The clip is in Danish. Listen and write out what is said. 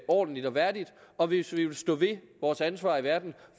ordentligt og værdigt og hvis vi vil stå ved vores ansvar i verden